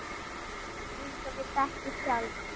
Eins og við þekkjum sjálf.